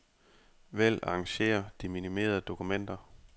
Vælg arrangér de minimerede dokumenter.